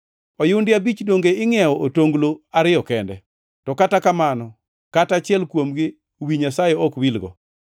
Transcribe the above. Oyundi abich donge ingʼiewo otonglo ariyo kende? To kata kamano kata achiel kuomgi wi Nyasaye ok wilgo.